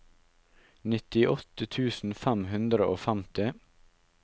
nittiåtte tusen fem hundre og femti